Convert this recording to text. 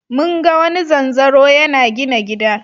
Mun ga wani zanzaro yana gina gida.